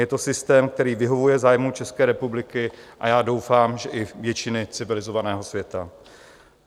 Je to systém, který vyhovuje zájmům České republiky, a já doufám, že i většiny civilizovaného světa.